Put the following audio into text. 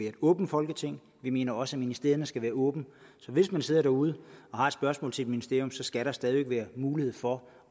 et åbent folketing vi mener også at ministerierne skal være åbne så hvis man sidder derude og har et spørgsmål til et ministerium skal der stadig være mulighed for